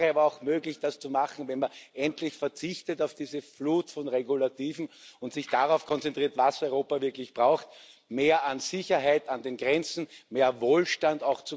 Es wäre aber auch möglich, das zu machen, wenn man endlich auf diese Flut von Regulativen verzichtet und sich darauf konzentriert, was Europa wirklich braucht mehr Sicherheit an den Grenzen und mehr Wohlstand.